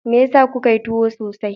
Me yasa kuka yi tuwo sosai?